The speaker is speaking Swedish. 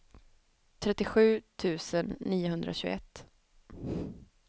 trettiosju tusen niohundratjugoett